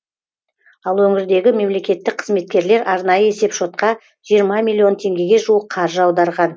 ал өңірдегі мемлекеттік қызметкерлер арнайы есепшотқа жиырма миллион теңгеге жуық қаржы аударған